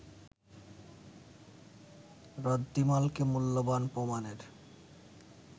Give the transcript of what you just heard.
রদ্দিমালকে মূল্যবান প্রমাণের